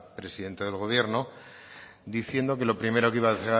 presidente del gobierno diciendo que lo primero que iba a